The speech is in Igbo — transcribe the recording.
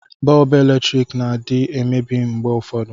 Bọọbụ eletriki na adị emebi mgbe ụfọdụ